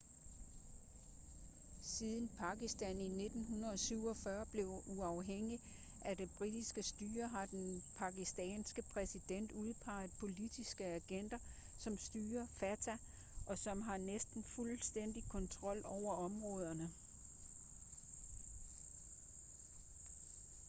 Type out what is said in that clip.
siden pakistan i 1947 blev uafhængigt af det britiske styre har den pakistanske præsident udpeget politiske agenter som styrer fata og som har næsten fuldstændig kontrol over områderne